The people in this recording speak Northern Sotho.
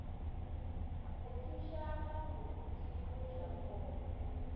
go šutha ga moriti mojakong